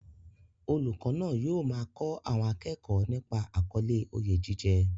Olùkọ́ náà yóò máa kọ́ àwọn akẹ́kọ̀ọ́ nípa àkọlé "Oyè jíjẹ"